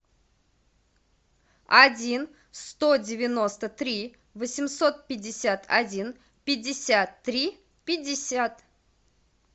один сто девяносто три восемьсот пятьдесят один пятьдесят три пятьдесят